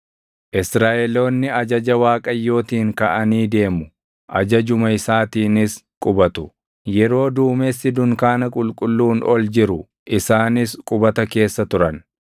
Israaʼeloonni ajaja Waaqayyootiin kaʼanii deemu; ajajuma isaatiinis qubatu. Yeroo duumessi dunkaana qulqulluun ol jiru isaanis qubata keessa turan.